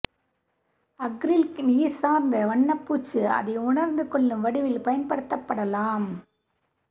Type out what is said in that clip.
acrylic நீர் சார்ந்த வண்ணப்பூச்சு அதை உணர்ந்து கொள்ளும் வடிவில் பயன்படுத்தப்படலாம்